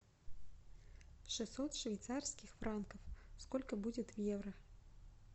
шестьсот швейцарских франков сколько будет в евро